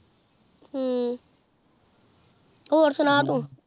ਹ੍ਮ੍ਮ੍ਮ ਹੋਰ ਸੁਨਾ ਤੂ